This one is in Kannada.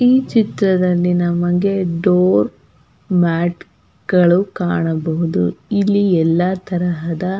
ಈ ಚಿತ್ರದಲ್ಲಿ ನಮಗೆ ಡೋರ್ ಮ್ಯಾಟ್ ಗಳು ಕಾಣಬಹುದು ಇಲ್ಲಿ ಎಲ್ಲ ತರಹದ --